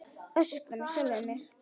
Öskra með sjálfri mér.